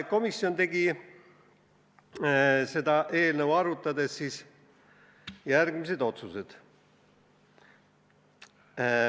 Komisjon tegi eelnõu arutades järgmised otsused.